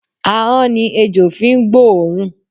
Ahọ́n ni ejò fi ń gbóòórùn.